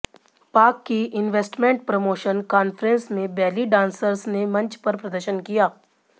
पाक की investment promotion conference में बेली डांसर्स ने मंच पर प्रदर्शन किया